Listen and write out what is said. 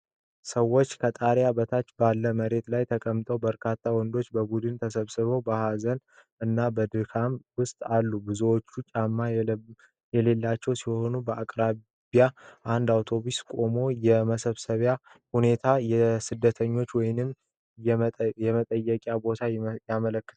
ሰዎች ከጣሪያ በታች ባለው መሬት ላይ ተቀምጠዋል። በርካታ ወንዶች በቡድን ተሰብስበው በሀዘን እና በድካም ውስጥ አሉ። ብዙዎቹ ጫማ የሌላቸው ሲሆን በአቅራቢያ አንድ አውቶቡስ ቆሟል። የ መሰብሰቢያው ሁኔታ የ ስደተኞችን ወይም የመጠየቂያ ቦታን ያመለክታል።